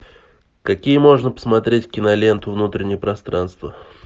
какие можно посмотреть киноленту внутреннее пространство